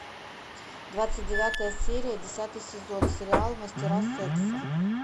двадцать девятая серия десятый сезон сериал мастера секса